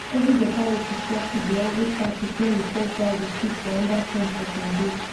i dey mark my best beans plants when i dey harvest so i fit keep the seeds for planting next time.